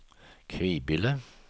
Kvibille